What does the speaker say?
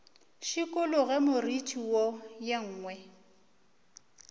šikologe moriti wo ye nngwe